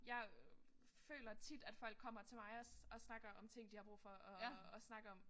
Jeg øh føler tit at folk kommer til mig og og snakker om ting de har brug for at snakke om